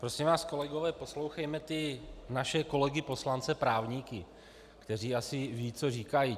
Prosím vás kolegové, poslouchejme ty naše kolegy poslance právníky, kteří asi vědí, co říkají.